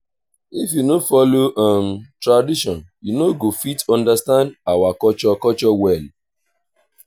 if you no follow um tradition you no go fit understand our culture culture well.